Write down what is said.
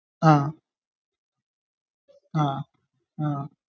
അഹ്. ആഹ്ഹ